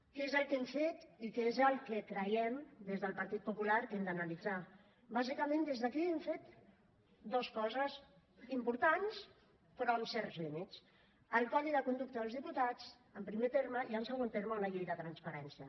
què és el que hem fet i què és el que creiem des del partit popular que hem d’analitzar bàsicament des d’aquí hem fet dues coses importants però amb certs límits el codi de conducta dels diputats en primer terme i en segon terme una llei de transparència